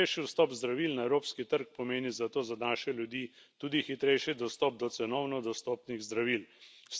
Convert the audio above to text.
Hitrejši vstop zdravil na evropski trg pomeni zato za naše ljudi tudi hitrejši dostop do cenovno dostopnih zdravil.